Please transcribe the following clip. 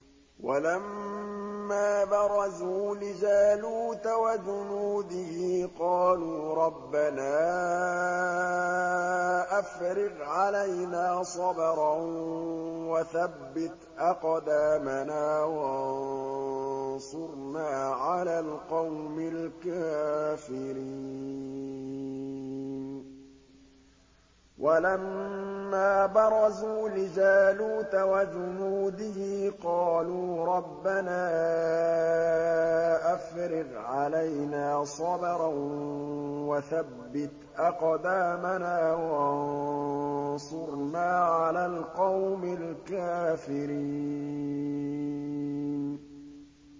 وَلَمَّا بَرَزُوا لِجَالُوتَ وَجُنُودِهِ قَالُوا رَبَّنَا أَفْرِغْ عَلَيْنَا صَبْرًا وَثَبِّتْ أَقْدَامَنَا وَانصُرْنَا عَلَى الْقَوْمِ الْكَافِرِينَ